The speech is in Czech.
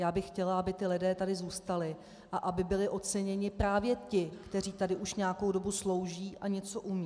Já bych chtěla, aby ti lidé tady zůstali a aby byli oceněni právě ti, kteří tady už nějakou dobu slouží a něco umějí.